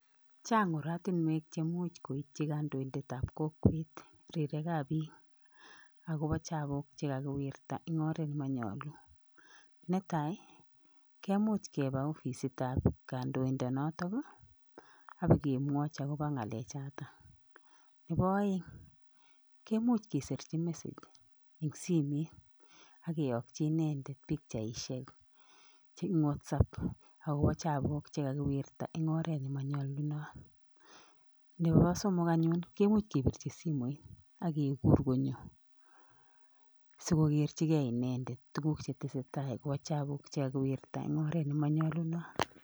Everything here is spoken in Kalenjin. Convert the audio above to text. Chang oratinwek cheimuc keityi kandoindetab kokwet ak kemwochi akobo chabuk chekakiwirta en oret. Netai kemuch kebab akoi ofisit nebo kandoindonotok ak ibo kemwochi, nebo oeng kimuch kiserchi inendet message akiyokchi pichaisiek akobo chabuk chekakiwirta en oret. Nebo somok, kimuche kebirchi simoit sikonyo inendet akokerchige chabuuk choton chekakiwiryta en oret nemonyolu en oret.